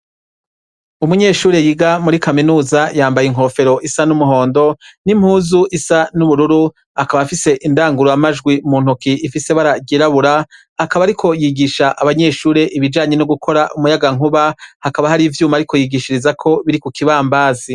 Umunyeshure yiga muri Kaminuza ,yambaye inkofero isa n’umuhondo ,n’impuzu isa n’ubururu ,akaba afise indangurura majwi muntoke ifis’ibara ryirabura, akaba ariko yigisha abanyeshure ibijanye no gukora umuyagankuba ,hakaba har’ivyuma ariko yigishirizako biri kukibambazi.